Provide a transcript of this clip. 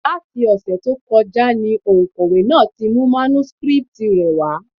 Láti ọ̀sẹ̀ tó kọjá ni òǹkọ̀wé náà ti mú mánúskrítì rẹ̀ wá.